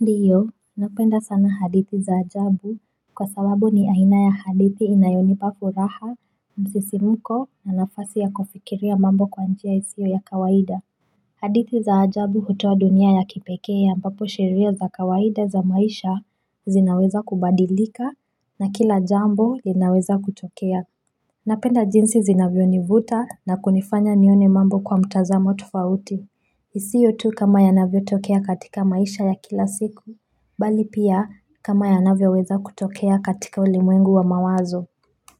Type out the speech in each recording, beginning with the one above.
Ndiyo, napenda sana hadithi za ajabu Kwa sababu ni aina ya hadithi inayonipa furaha msisimko na nafasi ya kufikiria mambo kwa njia isiyo ya kawaida hadithi za ajabu hutoa dunia ya kipekee ambapo sheria za kawaida za maisha zinaweza kubadilika na kila jambo linaweza kutokea Napenda jinsi zinavyonivuta na kunifanya nione mambo kwa mtazamo tofauti isiyo tu kama yanavyotokea katika maisha ya kila siku Bali pia kama yanavyoweza kutokea katika ulimwengu wa mawazo.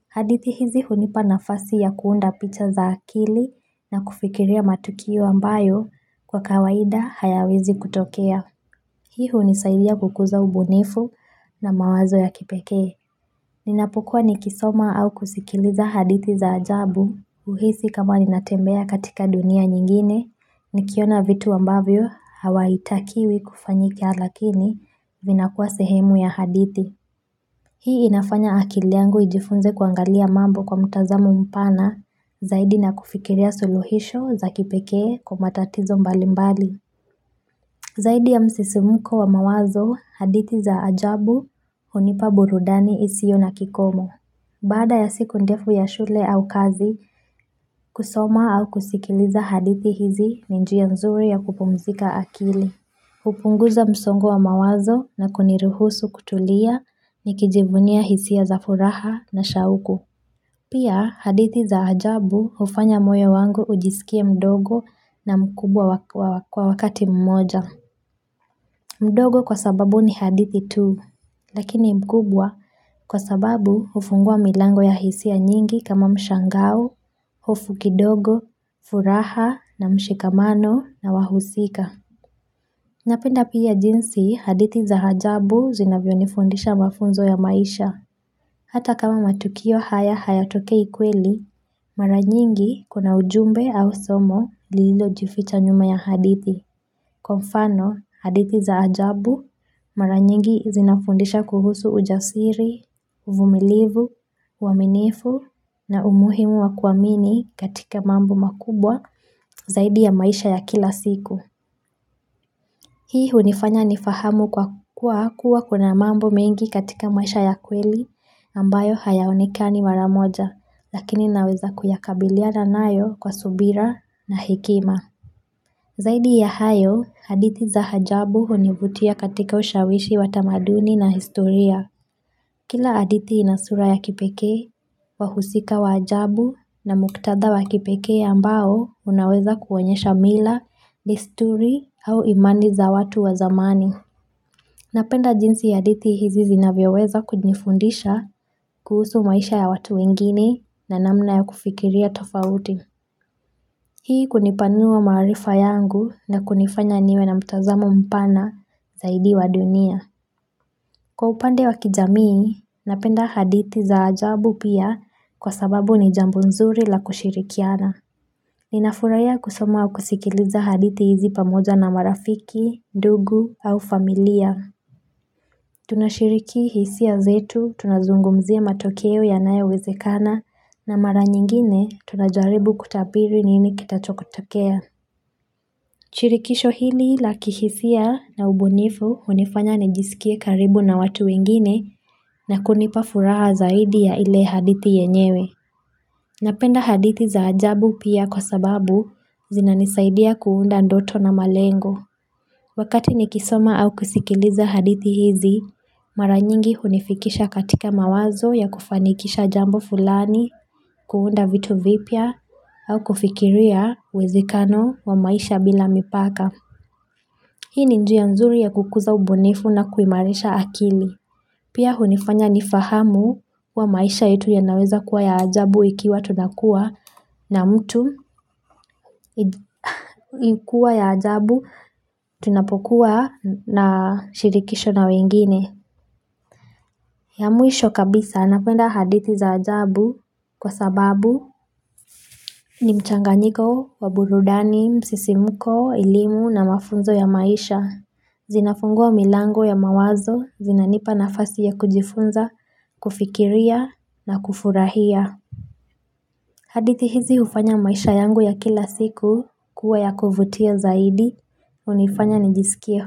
Hadithi hizi hunipa nafasi ya kuunda picha za akili na kufikiria matukio ambayo kwa kawaida hayawezi kutokea. Hii hunisailia kukuza ubunifu na mawazo ya kipekee. Ninapokua nikisoma au kusikiliza hadithi za ajabu. Huhisi kama ninatembea katika dunia nyingine nikiona vitu ambavyo havitakiwi kufanyika lakini vinakuwa sehemu ya hadithi. Hii inafanya akili yangu ijifunze kuangalia mambo kwa mtazamu mpana zaidi na kufikiria suluhisho za kipekee kwa matatizo mbalimbali. Zaidi ya msisimko wa mawazo hadithi za ajabu hunipa burudani isiyo na kikomo. Baada ya siku ndefu ya shule au kazi, kusoma au kusikiliza hadithi hizi ni njia nzuri ya kupumzika akili. Hupunguza msongo wa mawazo na kuniruhusu kutulia nikijivunia hisia za furaha na shauku. Pia, hadithi za ajabu hufanya moyo wangu ujisikie mdogo na mkubwa kwa wakati mmoja. Mdogo kwa sababu ni hadithi tu, lakini mkubwa kwa sababu hufungua milango ya hisia nyingi kama mshangao, hofu kidogo, furaha, na mshikamano, na wahusika. Napenda pia jinsi hadithi za ajabu zinavyonifundisha mafunzo ya maisha. Hata kama matukio haya hayatokei kweli, mara nyingi kuna ujumbe au somo lililojificha nyuma ya hadithi. Kwa mfano, hadithi za ajabu mara nyingi zinafundisha kuhusu ujasiri, uvumilivu, uaminifu na umuhimu wa kuamini katika mambo makubwa zaidi ya maisha ya kila siku. Hii hunifanya nifahamu kuwa kuna mambo mengi katika maisha ya kweli ambayo hayaonekani mara moja lakini naweza kukabiliana nayo kwa subira na hekima. Zaidi ya hayo, hadithi za ajabu hunivutia katika ushawishi wa tamaduni na historia. Kila hadithi ina sura ya kipekee, wahusika wa ajabu na muktadha wa kipekee ambao unaweza kuonyesha mila, desturi au imani za watu wa zamani. Napenda jinsi hadithi hizi zinavyoweza kunifundisha kuhusu maisha ya watu wengine na namna ya kufikiria tofauti. Hii kunipanua maarifa yangu na kunifanya niwe na mtazamo mpana zaidi wa dunia. Kwa upande wa kijamii, napenda hadithi za ajabu pia kwa sababu ni jambo nzuri la kushirikiana. Ninafurahia kusoma na kusikiliza hadithi hizi pamoja na marafiki, ndugu au familia. Tunashiriki hisia zetu, tunazungumzia matokeo yanayowezekana na mara nyingine tunajaribu kutabiri nini kitakachotokea. Shirikisho hili la kihisia na ubunifu hunifanya nijisikie karibu na watu wengine na kunipa furaha zaidi ya ile hadithi yenyewe. Napenda hadithi za ajabu pia kwa sababu zinanisaidia kuunda ndoto na malengo. Wakati nikisoma au kusikiliza hadithi hizi, mara nyingi hunifikisha katika mawazo ya kufanikisha jambo fulani kuunda vitu vipya au kufikiria uwezekano wa maisha bila mipaka. Hii ni njia ya nzuri ya kukuza ubunifu na kuimarisha akili. Pia hunifanya nifahamu kuwa maisha yetu yanaweza kuwa ya ajabu tunapokuwa na shirikisho na wengine. Ya mwisho kabisa napenda hadithi za ajabu kwa sababu ni mchanganyiko, wa burudani, msisimko, elimu na mafunzo ya maisha. Zinafungua milango ya mawazo, zinanipa nafasi ya kujifunza, kufikiria na kufurahia hadithi hizi hufanya maisha yangu ya kila siku kuwa ya kuvutia zaidi, hunifanya nijisikie.